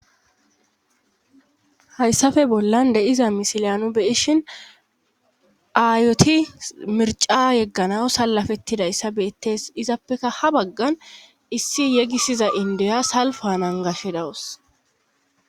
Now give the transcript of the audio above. hayssafe bollan de'iza misiliya nu beyishin aayoti mirca yeggana salafettidayssa beettes izappekka ha baggan issi yegisiza indiya salfa nagashe dawus